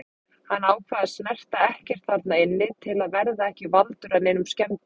Hann ákvað að snerta ekkert þarna inni til að verða ekki valdur að neinum skemmdum.